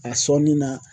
A sɔnni na